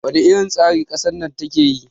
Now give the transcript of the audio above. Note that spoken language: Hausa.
wane irin tsari kasar na take yi?